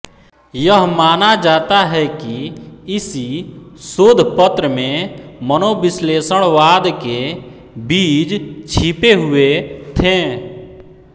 यह माना जाता है कि इसी शोधपत्र में मनोविश्लेषणवाद के बीज छिपे हुए थे